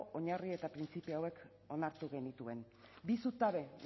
oinarri eta printzipio hauek onartu genituen bi zutabe